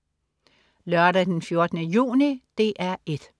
Lørdag den 14. juni - DR 1: